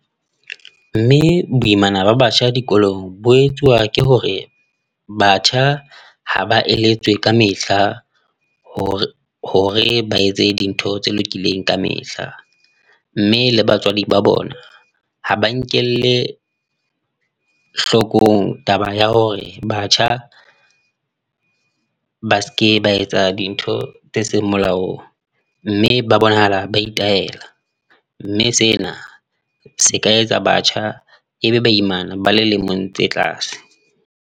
Mme boimana ba batjha dikolong bo etsuwa ke hore, batjha ha ba eletswe ka mehla hore hore ba etse dintho tse lokileng kamehla, mme le batswadi ba bona ha ba nkelle hlokong taba ya hore batjha ba seke ba etsa dintho tse seng molaong mme ba bonahala ba itayela, mme sena se ka etsa batjha ebe ba imana ba le lemong tse tlase.